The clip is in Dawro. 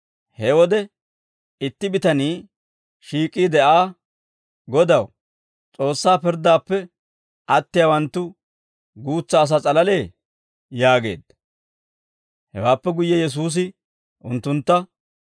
He wode itti bitanii shiik'iide Aa, «Godaw, S'oossaa pirddaappe attiyaawanttu guutsa asaa s'alalee?» yaageedda. Hewaappe guyye Yesuusi unttuntta,